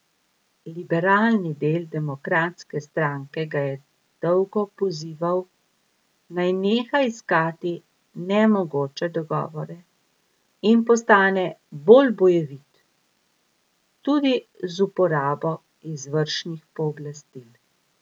Liberalni del demokratske stranke ga je dolgo pozival, naj neha iskati nemogoče dogovore in postane bolj bojevit, tudi z uporabo izvršnih pooblastil.